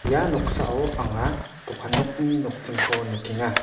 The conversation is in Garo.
ia noksao anga dokan nokni nokdringko nikenga.